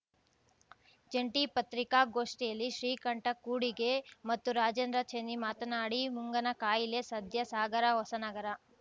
ಜಂಟಿ ಪತ್ರಿಕಾಗೋಷ್ಠಿಯಲ್ಲಿ ಶ್ರೀಕಂಠ ಕೂಡಿಗೆ ಮತ್ತು ರಾಜೇಂದ್ರ ಚೆನ್ನಿ ಮಾತನಾಡಿ ಮುಂಗನಕಾಯಿಲೆ ಸದ್ಯ ಸಾಗರ ಹೊಸನಗರ